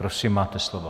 Prosím, máte slovo.